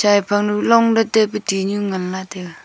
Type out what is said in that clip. chai phang du long dat taipu tihnu nganla taiga.